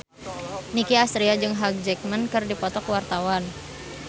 Nicky Astria jeung Hugh Jackman keur dipoto ku wartawan